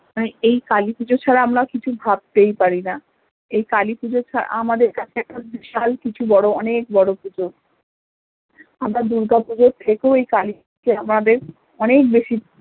এই কালীপুজো ছাড়া আমরা কিছু ভাবতেই পারি না এই কালীপূজো আমাদের কাছে একটা বিশাল কিছু বড়ো অনেক বড়ো পুজো আমরা দুর্গা পুজোর থেকেও এই কালীপুজো আমাদের অনেক বেশি